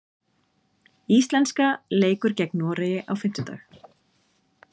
Íslenska leikur gegn Noregi á fimmtudag.